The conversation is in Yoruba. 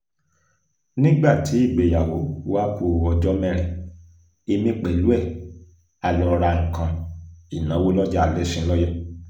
nígbà tí ìgbéyàwó wa ku ọjọ́ mẹ́rin èmi pẹ̀lú ẹ̀ á lọ́ọ́ ra nǹkan ìnáwó lọ́jà alẹ́sìnlóye